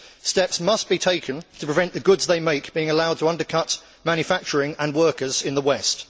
Steps must be taken to prevent the goods they make being allowed to undercut manufacturing and workers in the West.